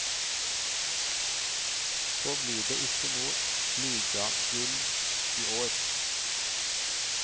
Så blir det ikke noe ligagull iår.